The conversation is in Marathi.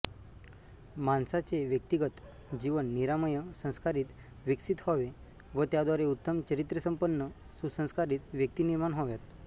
माणसाचे व्यक्तिगत जीवन निरामय संस्कारीत विकसीत व्हावे व त्याद्वारे उत्तम चारित्र्यसंपन्न सुसंस्कारीत व्यक्ती निर्माण व्हाव्यात